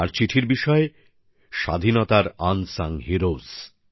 তার চিঠিরও বিষয় স্বাধীনতার না জানা নায়ক